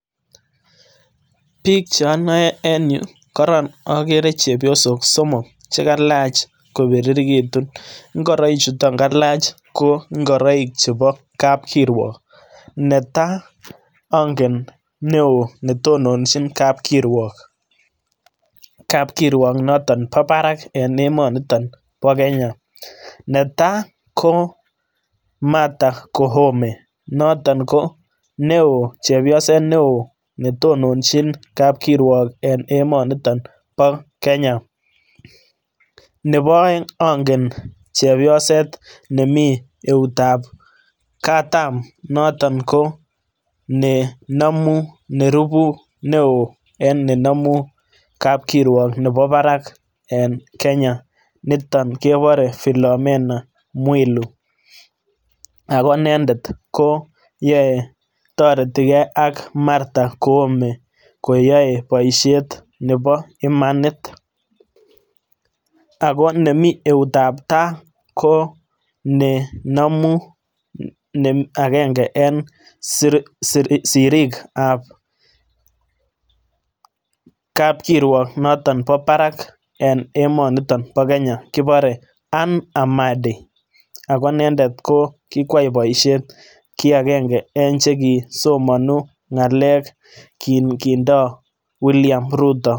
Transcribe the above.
Biik cheonoe en yuu koron okere chepyosok somok chekalach kobirirekitun ngoroik chuton kalach ko ngoroik chebo kapkirwok netaa ongen newoo netononjin kapkirwok kapkirwok noton bo barak eng emoniton bo Kenya netaa ko Martha Koome noton ko newoo chepyoset newoo netononjin kapkirwok eng emoniton bo Kenya nebo oeng ongen chepyoset nemii eutab katam noton konenomu nerubu newoo eng nenomu kapkirwok nebo barak eng Kenya niton kebore Philomena Mwilu ako inendet koyoe toreti kee ak Martha Koome koyoe boisiet nebo imanit ako nemii eutab taa konenomu agenge en siriikab kapkirwok noton bo barak eng emoniton bo Kenya kibore Anne Amadi ako inendet kikwai boisiet ki agenge eng chekisomonu ngalek kindoo William Ruto